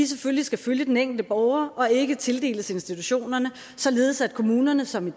selvfølgelig skal følge den enkelte borger og ikke tildeles institutionerne således at kommunerne som